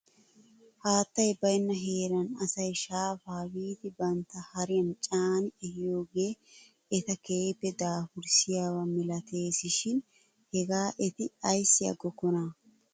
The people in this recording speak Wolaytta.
Haatay baynna heeran asay shaafaa biidi bantta hariyan caani ehiyoogee eta keehippe daafurssiyaaba milatees shin hegaa eti ayssi agiigokkonaa ?